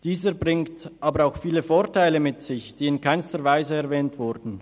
Dieser bringt aber auch viele Vorteile mit sich, die in keinster Weise erwähnt wurden.